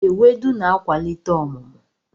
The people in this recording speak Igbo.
Ewedu na-akwalite ọmụmụ.